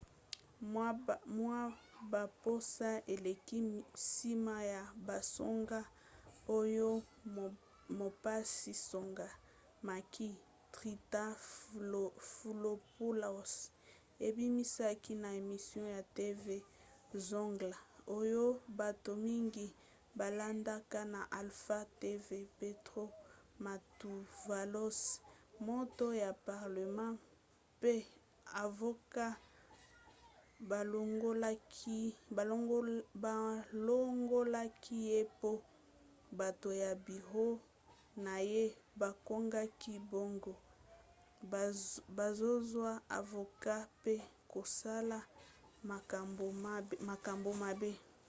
mwa baposo eleki nsima ya basango oyo mopanzi-sango makis triantafylopoulos abimisaki na emission ya tv zoungla oyo bato mingi balandaka na alpha tv petros mantouvalos moto ya parlema mpe avoka balongolaki ye po bato ya biro na ye bakangaki bango bazozwa avoka mpe kosala makambo mabe